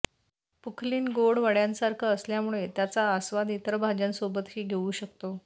पुखलीन गोड वडयासारखं असल्यामुळे त्याचा आस्वाद इतर भाज्यांसोबतही घेऊ शकतो